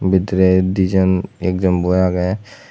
bidirey dijon ekjon boi aagey.